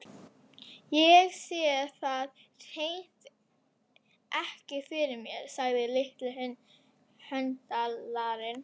Ég sé það hreint ekki fyrir mér, sagði litli höndlarinn.